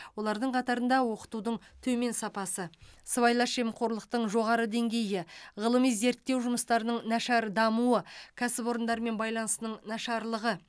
олардың қатарында оқытудың төмен сапасы сыбайлас жемқорлықтың жоғары деңгейі ғылыми зерттеу жұмыстарының нашар дамуы кәсіпорындармен байланысының нашарлығы